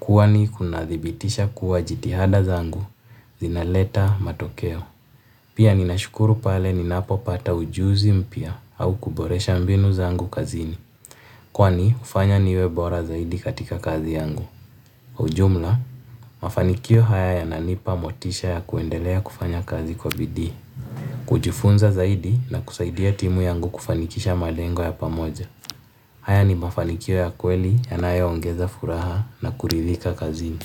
Kwani kunadhibitisha kuwa jitihada zangu zinaleta matokeo. Pia ninashukuru pale ninapopata ujuzi mpya au kuboresha mbinu zangu kazini. Kwani hufanya niwe bora zaidi katika kazi yangu. Ujumla, mafanikio haya yananipa motisha ya kuendelea kufanya kazi kwa bidii. Kujifunza zaidi na kusaidia timu yangu kufanikisha malengo ya pamoja. Haya ni mafanikio ya kweli yanayoongeza furaha na kuridhika kazini.